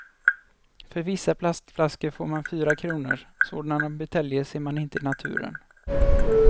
För vissa plastflaskor får man fyra kronor, sådana buteljer ser man inte i naturen.